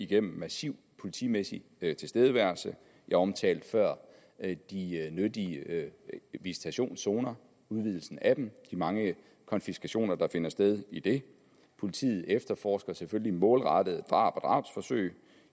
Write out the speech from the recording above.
gennem massiv politimæssig tilstedeværelse jeg omtalte før de nyttige visitationszoner udvidelsen af dem de mange konfiskationer der finder sted i det politiet efterforsker selvfølgelig målrettet drab og drabsforsøg